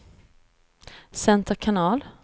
center kanal